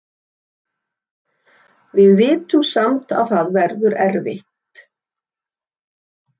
Við vitum samt að það verður erfitt.